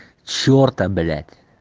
черта блять